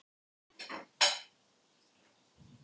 Mismikið er í bergi af efnum sem mynda auðleyst sölt.